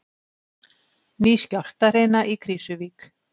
Ný skjálftahrina í Krýsuvík